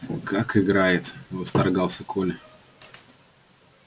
как играет восторгался коля